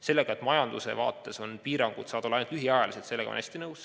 Sellega, et majanduse seisukohast lähtudes saavad piirangud olla ainult lühiajaliselt, olen ma väga nõus.